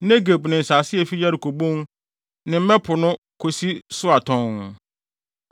Negeb; ne nsase a efi Yeriko Bon, ne Mmɛ Kuropɔn no de kosi Soar tɔnn.